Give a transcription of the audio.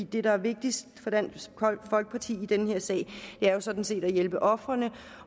det der er vigtigst for dansk folkeparti i den her sag er sådan set at hjælpe ofrene